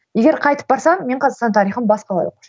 егер қайтып барсам мен қазақстан тарихын басқалай оқушы едім